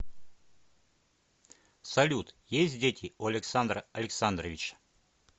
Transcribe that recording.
салют есть дети у александра александровича